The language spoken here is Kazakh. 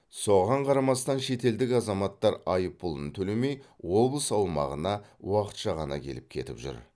соған қарамастан шетелдік азаматтар айыппұлын төлемей облыс аумағына уақытша ғана келіп кетіп жүр